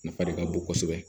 Nafa de ka bon kosɛbɛ